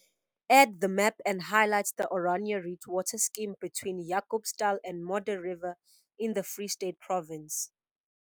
Add the map and highlight the Oranje Riet water scheme between Jacobsdal and Modderriver in the Free State Province.